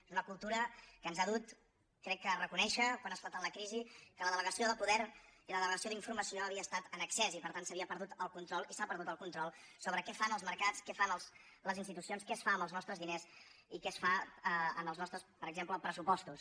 és una cultura que ens ha dut crec que a reconèixer quan ha esclatat la crisi que la delegació del poder i la delegació d’informació havia estat en excés i per tant s’havia perdut el control i s’ha perdut el control sobre què fan els mercats què fan les institucions què es fa amb els nostres diners i què es fa en els nostres per exemple pressupostos